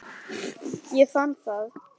Ég fann það!